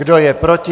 Kdo je proti?